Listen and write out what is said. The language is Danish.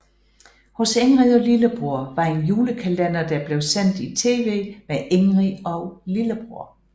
Hos Ingrid og lillebror var en julekalender der blev sendt i tv med Ingrid og Lillebror